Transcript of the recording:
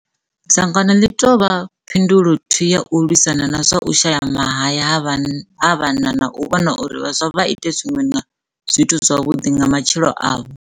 Dzangano ḽi tou vha phin dulo thwii ya u lwisana na zwa u shaya mahaya ha vha na na u vhona uri vhaswa vha ite zwiṅwe zwithu zwavhuḓi nga matshilo avho.